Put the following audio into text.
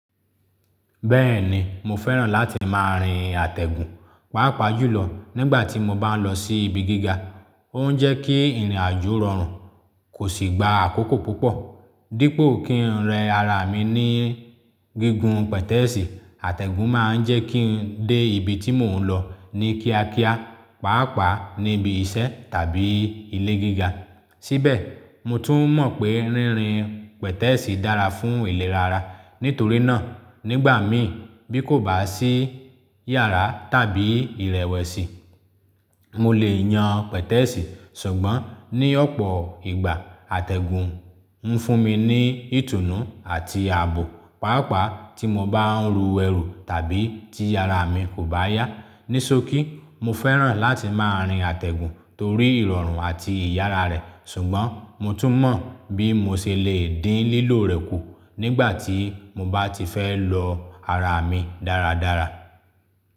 Bẹ́ẹ̀ni, mo fẹ́ràn láti máa rin àtẹ̀gùn, pàápàá jùlọ nígbà tí mo bá ń lọ sí ibi gíga. Ó ń jẹ́ kí ìrìnàjò rọrùn, kò sì gba àkókò púpọ̀. Dípo kí n rẹ ara mi ní gigun pẹ̀tẹ́ẹ̀sì, àtẹ̀gùn máa ń jẹ́ kí n dé ibi tí mò ń lọ ní kíákíá, pàápàá níbi iṣẹ́ tàbí ilé gíga. Síbẹ̀, mo tún mọ̀ pé rínrin pẹ̀tẹ́ẹ̀sì dára fún ìlera ara. Nítorí náà, nígbà mí bí kò bá sí yàrá tàbí ìrẹ̀wẹ̀sì, mo lè yan pẹ̀tẹ́ẹ̀sì. Ṣùgbọ́n ní ọ̀pọ̀ ìgbà, àtẹ̀gùn ń fún mi ní ìtùnú àti àbò, pàápàá tí mo bá ń ru ẹrù tàbí tí ara mi kò bá yá. Ní ṣokí, mo fẹ́ràn láti máa rin àtẹ̀gùn torí ìrọ̀rùn àti ìyára rẹ̀, ṣùgbọ́n mo tún mọ̀ bí mo ṣe lè dín lílò rẹ̀ kù nígbà tí mo bá ti fẹ́ lo ara mi dáradára.